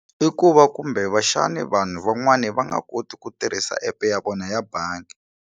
I ku va kumbe vanhu van'wani va nga koti ku tirhisa app ya vona ya bangi.